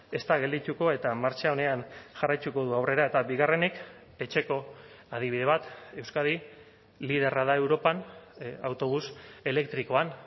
ez da geldituko eta martxa onean jarraituko du aurrera eta bigarrenik etxeko adibide bat euskadi liderra da europan autobus elektrikoan